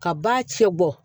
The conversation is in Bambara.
Ka ba cɛ bɔ